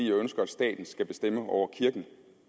ønsker at staten skal bestemme over kirken